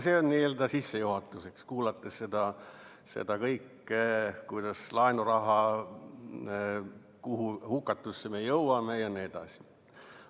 See on sissejuhatuseks, olles kuulanud seda kõike, kuhu hukatusse me jõuame jne.